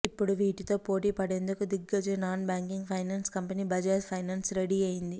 ఇప్పుడు వీటితో పోటీ పడేందుకు దిగ్గజ non banking finance company Bajaj finance ready అయ్యింది